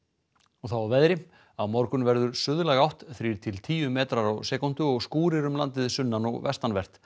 og þá að veðri á morgun verður suðlæg átt þrír til tíu metrar á sekúndu og skúrir um landið sunnan og vestanvert